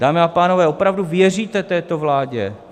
Dámy a pánové, opravdu věříte této vládě?